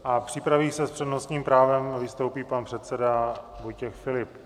A připraví se - s přednostním právem vystoupí pan předseda Vojtěch Filip.